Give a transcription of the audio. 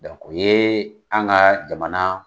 Dɔnku o ye an ka jamana